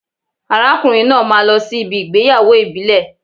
Arákùnrin náà máa lọ sí ibi ìgbéyàwó ìbílẹ̀